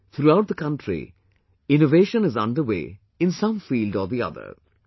Today, throughout the country, innovation is underway in some field or the other